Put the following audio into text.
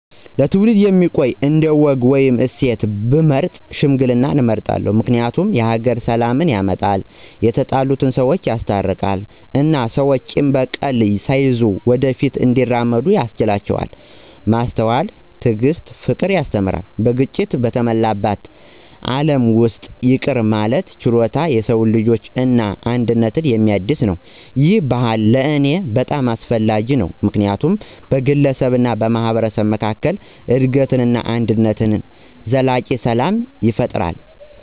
ለትውልድ የሚቆይ አንድ ወግ ወይም እሴት ብመርጥ ሽምግልናን እመርጣለሁ። ምክንያቱም የሀገር ሰላምን ያመጣል፣ የተጣሉ ሰወችን ያስታርቃል እና ሰዎች ቂም እና በቀል ሳይያዙ ወደ ፊት እንዲራመዱ ያስችላቸዋል። ማስተዋልን፣ ትዕግስትን እና ፍቅርን ያስተምራል። በግጭት በተሞላ ዓለም ውስጥ ይቅር የማለት ችሎታ የሰው ልጅን እና አንድነትን የሚያድስ ነው። ይህ ባህል ለእኔ በጣም አስፈላጊ ነው ምክንያቱም በግለሰብ እና በማህበረሰብ መካከል እድገትን፣ ደግነትን እና ዘላቂ ሰላም ይፈጥራል።